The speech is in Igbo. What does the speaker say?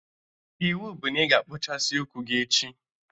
Iwu bụ na ị ga-akpụchasị ụkwụ gị echi!